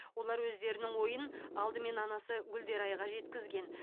олар өздерінің ойын алдымен анасы гүлдерайға жеткізген